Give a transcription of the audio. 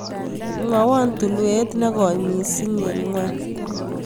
Mwawon tulwet ne goi miIsing' eng' ng'wony